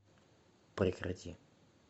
прекрати